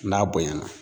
N'a bonyana